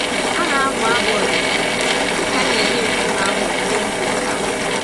A na-abụ abụ ọdịnala dịka a na-enye nkume ahụ onyinye mbụ nke afọ.